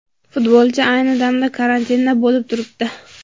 Futbolchi ayni damda karantinda bo‘lib turibdi.